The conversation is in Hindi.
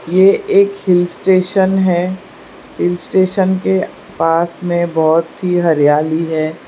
ये एक हिल स्टेशन है हिल स्टेशन के पास में बहोत सी हरियाली है।